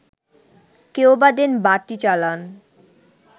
কেউবা দেন বাটি চালান